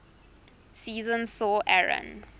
season saw aaron